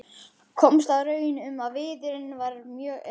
Komst að raun um að viðurinn er mjög góður.